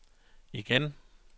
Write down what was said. igen